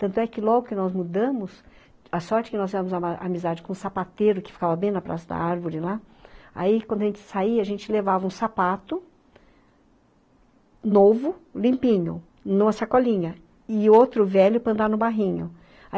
Tanto é que logo que nós mudamos, a sorte que nós tínhamos uma amizade com um sapateiro que ficava bem na praça da árvore lá, aí quando a gente saía, a gente levava um sapato novo, limpinho, numa sacolinha, e outro velho para andar no barrinho.